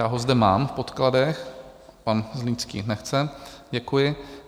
Já ho zde mám v podkladech - pan Zlínský nechce, děkuji.